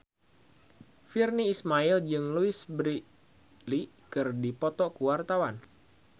Virnie Ismail jeung Louise Brealey keur dipoto ku wartawan